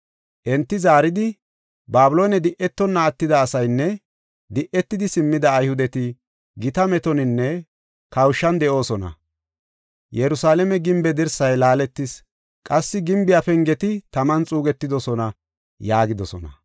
Enti zaaridi, “Babiloone di7etonna attida asaynne di7etidi simmida Ayhudeti gita metoninne kawushan de7oosona. Yerusalaame gimbe dirsay laaletis qassi gimbiya pengeti taman xuugetidosona” yaagidosona.